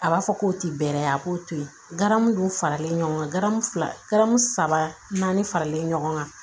A b'a fɔ k'o ti bɛrɛ ye a k'o to yen dun faralen ɲɔgɔn kan filamu saba naani faralen ɲɔgɔn kan